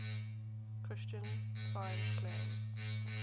christian science claims